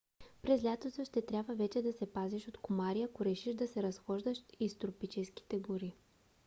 през лятото ще трябва най-вече да се пазиш от комари ако решиш да се разхождаш из тропическите гори